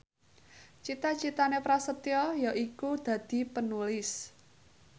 cita citane Prasetyo yaiku dadi Penulis